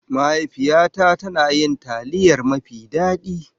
Mahaifiyata tana yin taliyar mafi daɗi.